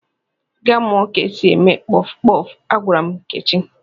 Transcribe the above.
"Gaa mụọ ka e si eme kpọfụ kpọfụ! " Agwara m Nkechi.